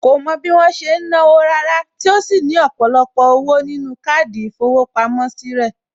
Kò mọ bí wọ́n ṣe ń náwó Rárá tí ó sì ní ọ̀pọ̀lọpọ̀ owó nínú káàdì ìfowópamọ́ sí rẹ̀